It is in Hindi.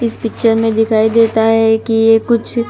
इस पिक्चर में दिखाई देता है कि ये कुछ--